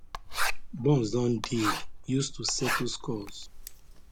bombs don dey [used to settle scores]